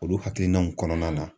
Olu hakilinaw kɔnɔna na.